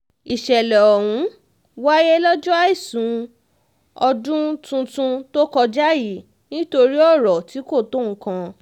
ìṣẹ̀lẹ̀ ọ̀hún wáyé lọ́jọ́ àìsùn ọdún tuntun tó kọjá yìí nítorí ọrọ̀ tí kò tó nǹkan